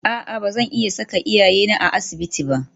A'a ba zan iya saka iyayena a asibitin ba